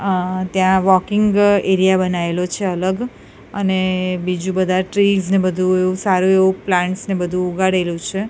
અ ત્યાં walking area બનાઇલો છે અલગ અને બીજુ બધા ટ્રીઝ ને બધુ એવુ સારુ એવુ પ્લાન્ટ્સ ને બધુ ઉગાડેલુ છે.